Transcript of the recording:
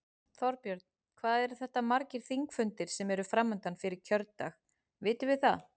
Þorbjörn: Hvað eru þetta margir þingfundir sem eru framundan fyrir kjördag, vitum við það?